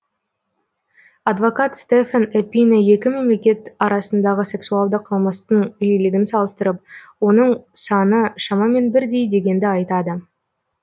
адвокат стефан эпине екі мемлекет арасындағы сексуалды қылмыстың жиілігін салыстырып оның саны шамамен бірдей дегенді айтады